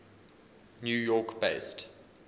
new york based